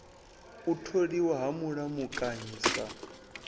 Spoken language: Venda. u tholiwa ha mulamukanyi sa